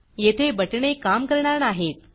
येथे बटणे काम करणार नाहीत